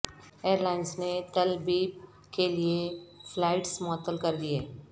ا یر لا ئنس نے Tel Aviv کیلئے flights معطل کر د ئیے